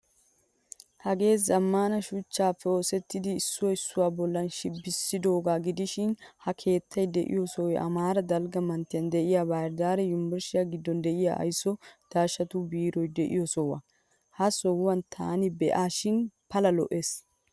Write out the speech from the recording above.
Hagee zammaana shuchchappe oosettida issuwa issuwa bollan shibbisidoga gidishin ha keettay deiyo sohoy amara dalgga manttiyan de'iyaa bahir daare yunvrshiyaa giddon de'iyaa aysuwaa daashshatu beeroy de'iyo soho. Ha sohuwaa tani beasishin pala lo'ees.